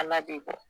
Ala ten fɔ